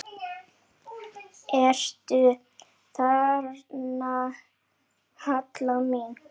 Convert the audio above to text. Ertu þarna, Halla mín?